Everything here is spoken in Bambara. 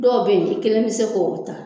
Dɔw bɛ ye i kelen tɛ k'olu ta.